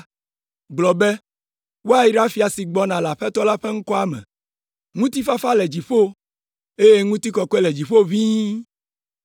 gblɔ be, “Woayra fia si gbɔna le Aƒetɔ la ƒe ŋkɔa me!” “Ŋutifafa le dziƒo, eye ŋutikɔkɔe le dziƒo ʋĩi!”